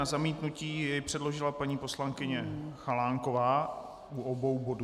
Na zamítnutí jej předložila paní poslankyně Chalánková u obou bodů.